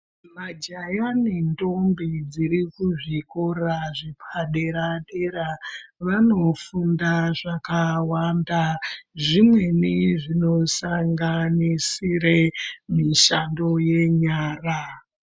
Majaya nendombi dzirikuzvikora zvepadera-dera vanofunda zvakawanda. Zvimweni zvinosanganisire mishando yenyara.